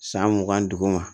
San mugan ni duuru ma